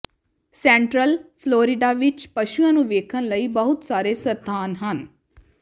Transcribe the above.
central Florida ਵਿਚ ਪਸ਼ੂਆਂ ਨੂੰ ਵੇਖਣ ਲਈ ਬਹੁਤ ਸਾਰੇ ਸਥਾਨ ਹਨ